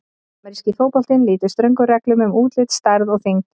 Ameríski fótboltinn lýtur ströngum reglum um útlit, stærð og þyngd.